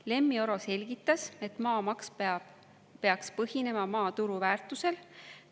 Lemmi Oro selgitas, et maamaks peaks põhinema maa turuväärtusel.